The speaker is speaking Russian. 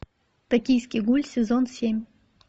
токийский гуль сезон семь